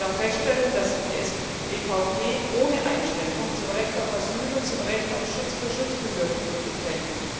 Ich darf feststellen, dass sich die EVP ohne Einschränkung zum Recht auf Asyl und zum Recht auf Schutz für Schutzbedürftige bekennt.